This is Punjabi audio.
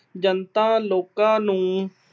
ਜਨਤਾ ਲੋਕਾਂ ਨੂੰ